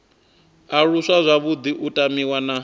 aluswa zwavhuḓi u tamiwa na